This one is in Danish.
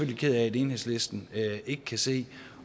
ked af at enhedslisten ikke kan se